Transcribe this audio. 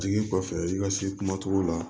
Jigin kɔfɛ i ka se kuma togo la